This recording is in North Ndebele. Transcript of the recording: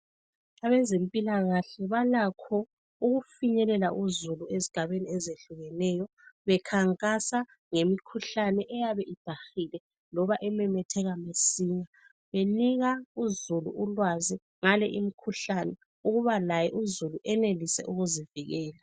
Bezempilakahle balakho ukufinyelela uzulu ezigabeni ezihlukeneyo bekhankasa ngemikhuhlane eyabe ebhahileyo ememetheka masinya, benika uzulu ulwazi ngale imikhuhlane ukuba laye uzulu enelise ukuzivikela.